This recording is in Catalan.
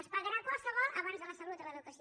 es pagarà qualsevol abans que la salut i l’educació